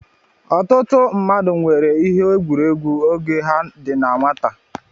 Ọtụtụ mmadụ nwere ihe egwuregwu oge ha dị na nwata.